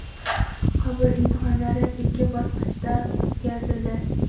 Qabul imtihonlari ikki bosqichda o‘tkazildi.